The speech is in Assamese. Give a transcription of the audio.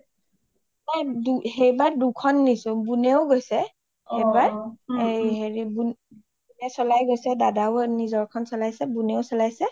নাই সেইবাৰ দুখন নিচো বুনৱেও গৈছে অ অ এইবাৰ এই হেৰি বুনে চলাই গৈছে দাদাও নিজৰখন চলাইছে বুনেও চলাইছে